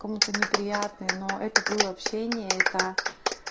кому-то неприятное но это было общение это